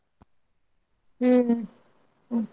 ಹ್ಮ್ ಹ್ಮ್.